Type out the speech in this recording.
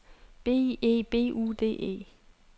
B E B U D E